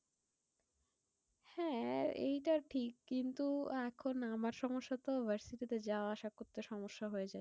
হ্যাঁ এইটা ঠিক, কিন্তু এখন আমার সমস্যা তো university তে যাওয়া আশা করতে সমস্যা হয়ে যায়।